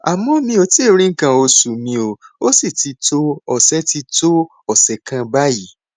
àmọ mi ò tíì rí nǹkan oṣù mi ó sì ti tó ọsẹ ti tó ọsẹ kan báyìí